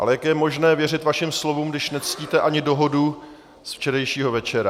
Ale jak je možné věřit vašim slovům, když nectíte ani dohodu ze včerejšího večera?